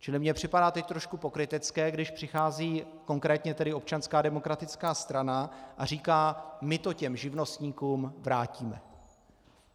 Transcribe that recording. Čili mně připadá teď trošku pokrytecké, když přichází konkrétně teď Občanská demokratická strana a říká - my to těm živnostníkům vrátíme.